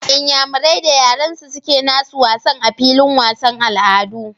Inyamurai da yaransu suke nasu wasan a filin wasan al'adu